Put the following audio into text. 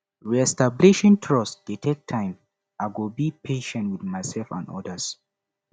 reestablishing trust dey take time i go be patient with myself and others